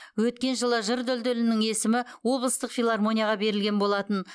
өткен жылы жыр дүлдүлінің есімі облыстық филармонияға берілген болатын